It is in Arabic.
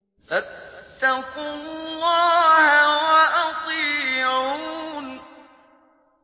فَاتَّقُوا اللَّهَ وَأَطِيعُونِ